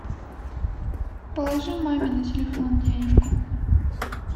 положи маме на телефон денежку